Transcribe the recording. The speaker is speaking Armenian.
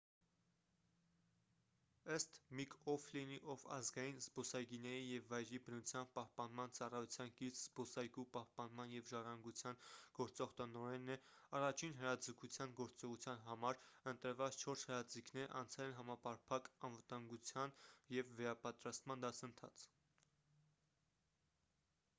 ըստ միք օ'ֆլինի ով ազգային զբոսայգիների և վայրի բնության պահպանման ծառայության կից զբոսայգու պահպանման և ժառանգության գործող տնօրենն է առաջին հրաձգության գործողության համար ընտրված չորս հրաձիգները անցել են համապարփակ անվտանգության և վերապատրաստման դասընթաց